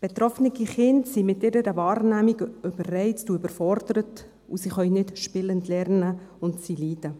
Betroffene Kinder sind mit ihrer Wahrnehmung überreizt und überfordert, und sie können nicht spielend lernen, und sie leiden.